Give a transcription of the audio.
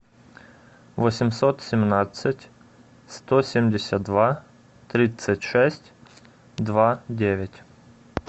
восемьсот семнадцать сто семьдесят два тридцать шесть два девять